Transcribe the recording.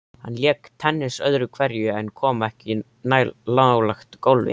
Hann lék tennis öðru hverju en kom ekki nálægt golfi.